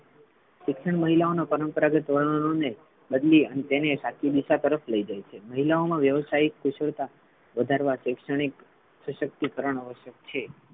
શિક્ષણ મહિલાઓ નો પરંપરાગત બદલી તેને સાચી દિશા તરફ લઇ જાય છે મહિલાઓ મા વ્યવસાયિક કુશળતા વધારવા શૈક્ષણિક સશક્તિકરણ આવશ્યક છે.